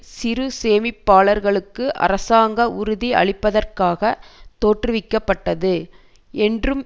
சிறு சேமிப்பாளர்களுக்கு அரசாங்க உறுதி அளிப்பதற்காக தோற்றுவிக்க பட்டது என்றும்